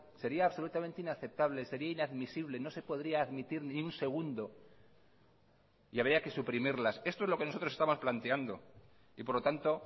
sería absolutamente inaceptable sería inadmisible no se podría admitir ni un segundo y habría que suprimirlas esto es lo que nosotros estamos planteando y por lo tanto